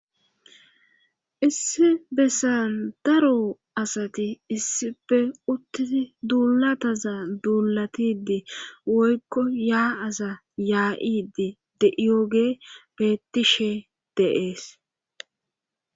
Issi bessan daro asati issife uttidi duulataza duulatidi woykko yaa7aza yaa7idi deiooge bettishe deees